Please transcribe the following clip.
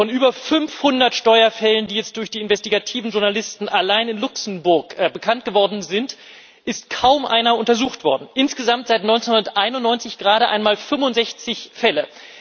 Von über 500 Steuerfällen, die jetzt durch die investigativen Journalisten allein in Luxemburg bekannt geworden sind, ist kaum einer untersucht worden insgesamt seit 1991 gerade einmal 65 Fälle.